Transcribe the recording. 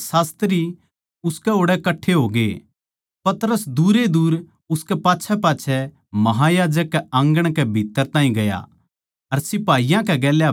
पतरस दूर ए दूर उसकै पाच्छैपाच्छै महायाजक कै आँगण कै भीत्त्तर ताहीं गया अर सिपाहियाँ कै गेल्या बैठकै आग पै सिकण लाग्या